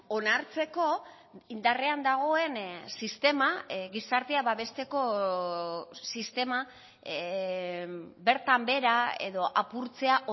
onartzeko indarrean dagoen sistema gizartea babesteko sistema bertan behera edo apurtzea